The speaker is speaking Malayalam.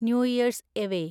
new year's away